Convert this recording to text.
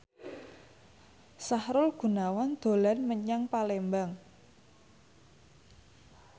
Sahrul Gunawan dolan menyang Palembang